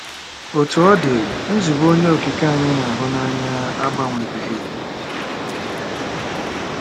Otú ọ dị, nzube Onye Okike anyị na-ahụ n'anya agbanwebeghị.